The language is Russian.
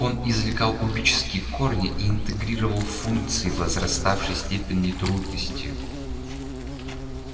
он извлекал кубические корни и интегрировал функции возраставшей степени трудности